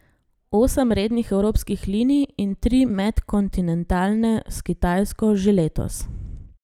Osem rednih evropskih linij in tri medkontinentalne s Kitajsko že letos.